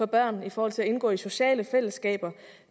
børn i forhold til at indgå i sociale fællesskaber